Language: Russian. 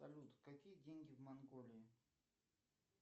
салют какие деньги в монголии